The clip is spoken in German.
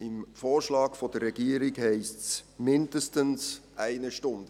Im Vorschlag der Regierung heisst es: «mindestens eine Stunde».